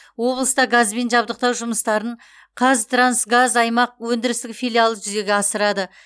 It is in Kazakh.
облыста газбен жабдықтау жұмыстарын қазтрансгаз аймақ өндірістік филиалы жүзеге асырады